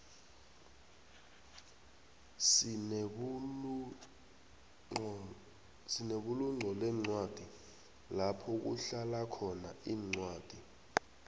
sinebulunqolencwadi lapho kuhlalakhona incwadi